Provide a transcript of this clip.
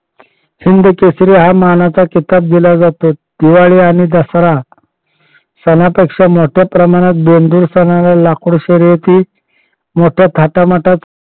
हिंदकेसरी हा मानाचा किताब दिला जातो. दिवाळी आणि दसरा सणापेक्षा मोठ्या प्रमाणात दोनदूर सणाला लाकूड शर्यती मोठ्या थाटात माटात